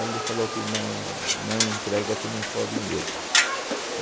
Ele falou que não não entrega se não for dinheiro.